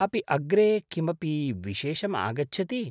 अपि अग्रे किमपि विशेषम् आगच्छति ?